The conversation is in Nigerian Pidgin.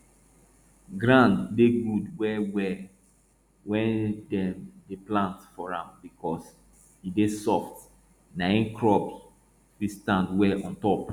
ground dey good well well wey dem dey plant for am because e dey soft naim crop fit stand well on top